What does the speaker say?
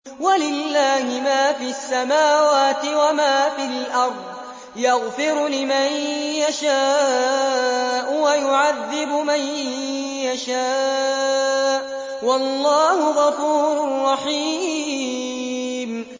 وَلِلَّهِ مَا فِي السَّمَاوَاتِ وَمَا فِي الْأَرْضِ ۚ يَغْفِرُ لِمَن يَشَاءُ وَيُعَذِّبُ مَن يَشَاءُ ۚ وَاللَّهُ غَفُورٌ رَّحِيمٌ